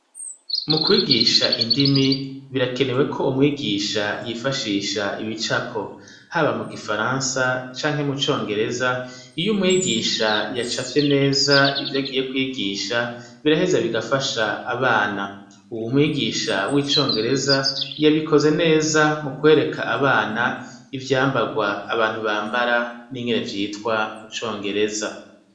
Mukwigisha indimi birakenewe ko umwigisha yifashisha ibicapo haba mu gifaransa canke mu congereza iyo umwigisha yacafye neza ivyo agiye kwigisha biraheza bigafasha abana . Umwigisha wicongereza yabikoze neza mukwreka abana ivyambarwa abantu bambara ingene vyitwa mucongereza .